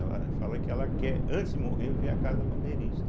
Ela fala que ela quer, antes de morrer, ver a Casa Bandeirista.